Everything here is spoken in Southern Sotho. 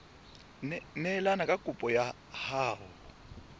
neelane ka kopo ya hao